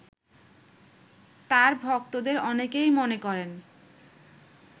তার ভক্তদের অনেকেই মনে করেন